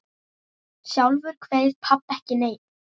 Sjálfur kveið pabbi ekki neinu.